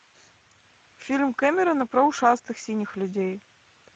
фильм кэмерона про ушастых синих людей